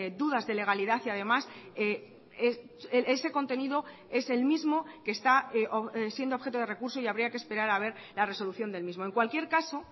dudas de legalidad y además ese contenido es el mismo que está siendo objeto de recurso y habría que esperar a ver la resolución del mismo en cualquier caso